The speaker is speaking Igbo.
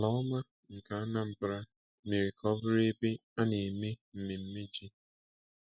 Ala ọma nke Anambra mere ka ọ bụrụ ebe a na-eme mmemme ji.